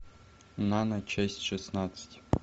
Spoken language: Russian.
нана часть шестнадцать